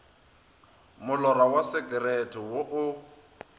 molora wa sekerete wo o